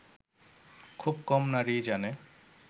খুব কম নারীই জানে